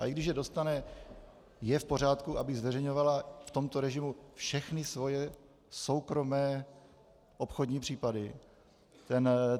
A i když je dostane, je v pořádku, aby zveřejňovala v tomto režimu všechny svoje soukromé obchodní případy?